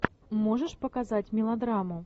можешь показать мелодраму